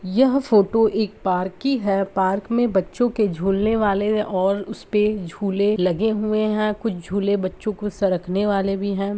यह फ़ोटो एक पार्क की है। पार्क में बच्चों के झुलने वाले और उसपे झूले लगे हुए है कुछ झूले बच्चो को सरकने वाले भी है।